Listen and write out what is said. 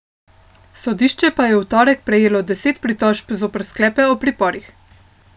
Sodišče pa je v torek prejelo deset pritožb zoper sklepe o priporih.